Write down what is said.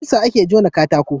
da ƙusa a ke jona katako